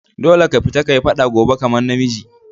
Dolle ka fita ka yi fada gobe kaman na miji!